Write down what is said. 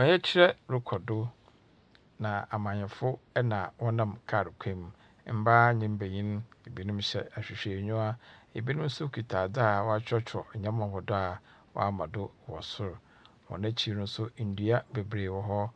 Ɔyɛkyerɛ rokɔ do, na amanyɛfo na wɔnam kaar kwan mu, mbaa mbanyin. Binom hyɛ ahwehwɛenyiwa, binom so kitsa adze a wɔakyerɛkyerɛw do a wɔama do wɔ sor. Hɔn ekyir no so, ndua beberee wɔ hɔ